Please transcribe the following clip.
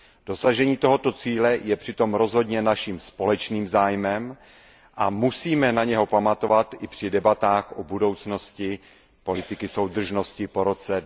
Dosažení tohoto cíle je přitom rozhodně naším společným zájmem a musíme na něj pamatovat i při debatách o budoucnosti politiky soudržnosti po roce